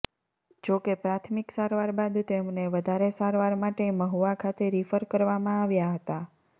જો કે પ્રાથમિક સારવાર બાદ તેમને વધારે સારવાર માટે મહુવા ખાતે રિફર કરવામાં આવ્યા હતા